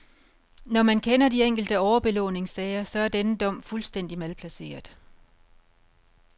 Når man kender de enkelte overbelåningssager, så er denne dom fuldstændig malplaceret.